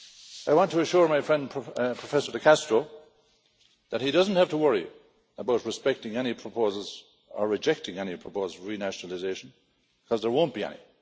I want to assure my friend Professor De Castro that he doesn't have to worry about respecting any proposals or rejecting any proposals on renationalisation because there won't be any.